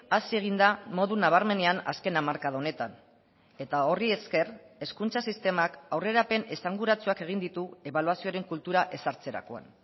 hasi egin da modu nabarmenean azken hamarkada honetan eta horri esker hezkuntza sistemak aurrerapen esanguratsuak egin ditu ebaluazioaren kultura ezartzerakoan